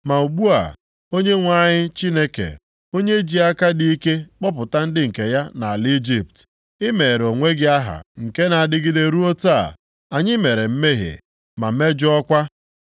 “Ma ugbu a, Onyenwe anyị Chineke, onye ji aka dị ike kpọpụta ndị nke ya nʼala Ijipt, i meere onwe gị aha nke na-adịgide ruo taa. Anyị mere mmehie, ma mejọọkwa.